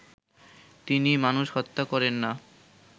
তিনি মানুষ হত্যা করেন না